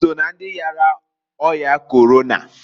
I so na ndị yara ọya Korona?